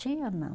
Tinha, não.